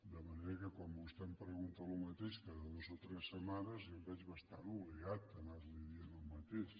de manera que quan vostè em pregunta el mateix cada dues o tres setmanes jo em veig bastant obligat a anar li dient el mateix